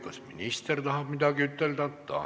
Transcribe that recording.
Kas minister tahab midagi öelda?